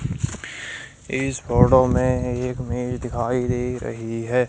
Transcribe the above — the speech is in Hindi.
इस फोटो में एक मेज दिखाई दे रही है।